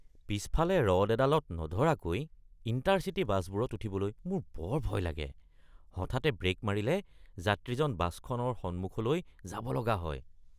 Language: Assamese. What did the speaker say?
পিছফালে ৰড এডালত নধৰাকৈ ইণ্টাৰ-চিটী বাছবোৰত উঠিবলৈ মোৰ বৰ ভয় লাগে। হঠাতে ব্ৰেক মাৰিলে যাত্ৰীজন বাছখনৰ সন্মুখভাগলৈ যাব লগা যায়।